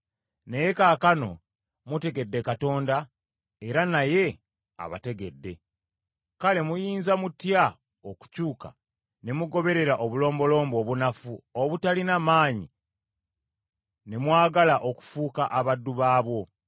Naye kaakano mutegedde Katonda era naye abategedde, kale muyinza mutya okukyuka, ne mugoberera obulombolombo obunafu obutalina maanyi ne mwagala okufuuka abaddu baabwo?